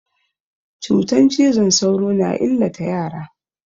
Cutan cizon sauro na illata yara.